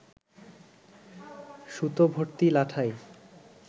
সুতোভর্তি লাটাই